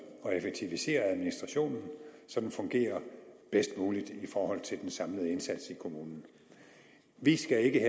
og effektivisere administrationen så den fungerer bedst muligt i forhold til den samlede indsats i kommunen vi skal ikke